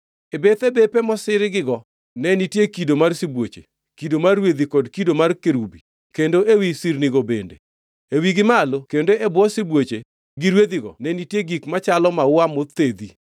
E bethe bepe mosirogigo ne nitie kido mar sibuoche, kido mar rwedhi kod kido mar kerubi kendo ewi sirnigo bende. E wigi malo kendo e bwo sibuoche gi rwedhigo ne nitie gik machalo maua mothedhi.